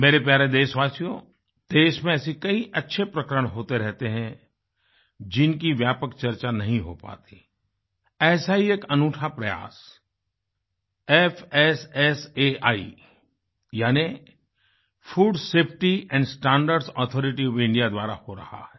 मेरे प्यारे देशवासियों देश में कई ऐसे अच्छे प्रकरण होते रहते हैं जिनकी व्यापक चर्चा नहीं हो पाती ऐसा ही एक अनूठा प्रयासFSSAI यानी food safety and standard authority of India द्वारा हो रहा है